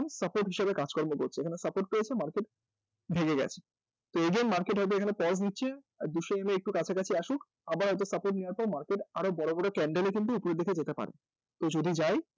support হিসেবে কাজকর্ম করছে এখানে support পেয়েছে market ভেঙেগেছে তো again market এখানে pause নিচ্ছে আর দুশো EM এর একটু কাছাকাছি আসুক আবার হয়ত support নেওয়ার পর market আরও বড় বড় candle এ কিন্তু উপরের দিকে যেতে পারে তো যদি যায়